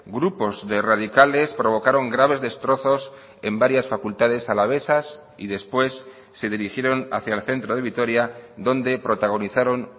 grupos de radicales provocaron graves destrozos en varias facultades alavesas y después se dirigieron hacia el centro de vitoria donde protagonizaron